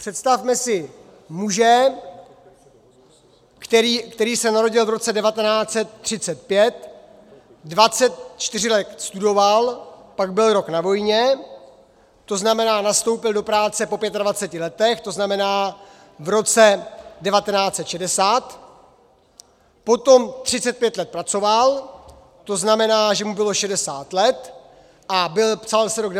Představme si muže, který se narodil v roce 1935, 24 let studoval, pak byl rok na vojně, to znamená, nastoupil do práce po 25 letech, to znamená v roce 1960, potom 35 let pracoval, to znamená, že mu bylo 60 let, a psal se rok 1995 a on šel do důchodu.